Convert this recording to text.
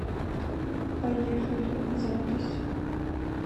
поехали запись